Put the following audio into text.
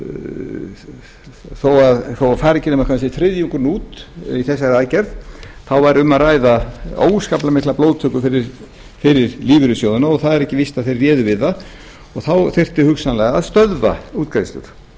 þó fari ekki nema kannski þriðjungurinn út við þessa aðgerð þá væri um að ræða óskaplega mikla blóðtöku fyrir lífeyrissjóðina og það er ekki víst að þeir réðu við það og þá þyrfti hugsanlega að stöðva útgreiðslur